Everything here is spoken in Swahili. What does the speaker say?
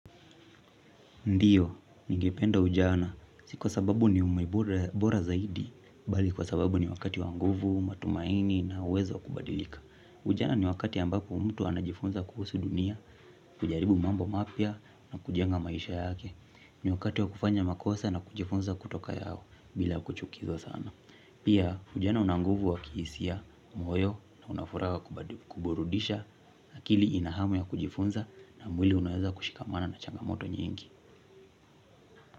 Ndiyo, ningependa ujana. Si kwa sababu ni ume bora zaidi, bali kwa sababu ni wakati wa nguvu, matumaini na uwezo wa kubadilika. Ujana ni wakati ambapo mtu anajifunza kuhusu dunia, kujaribu mambo mapya na kujenga maisha yake. Ni wakati wa kufanya makosa na kujifunza kutoka yao bila kuchukizwa sana. Pia, ujana una nguvu wa kihisia, moyo na una furaha wa kuburudisha, akili ina hamu ya kujifunza na mwili unaweza kushikamana na changamoto nyingi.